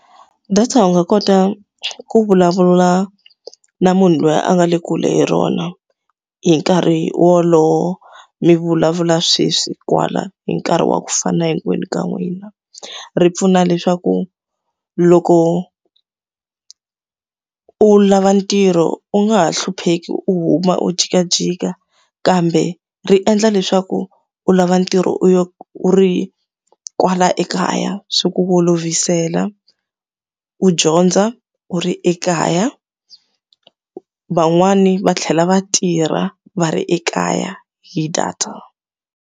Data u nga kota ku vulavula na munhu loyi a nga le kule hi rona, hi nkarhi wolowo mi vulavula sweswi, kwala, hi nkarhi wa ku fana na hinkwenu ka n'wina. Ri pfuna leswaku loko u lava ntirho u nga ha hlupheki u huma u jikajika, kambe ri endla leswaku u lava ntirho u u ri kwala ekaya, swi ku olovisela. U dyondza u ri ekaya, van'wani va tlhela va tirha va ri ekaya hi data.